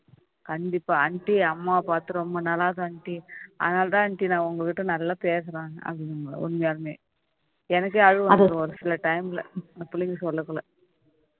கண்டிப்பா aunty அம்மாவ பார்த்து ரொம்ப நாளாகுது aunty அதனாலதான் aunty நான் உங்ககிட்ட நல்லா பேசுறேன் அப்டின்னு உண்மையாலுமே எனக்கே அழுகை வந்துடும் ஒரு சில time ல அந்த புள்ளைங்க சொல்லகுள்ள